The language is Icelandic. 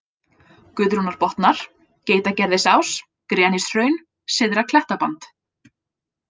Guðrúnarbotnar, Geitagerðisás, Grenishraun, Syðra-Klettaband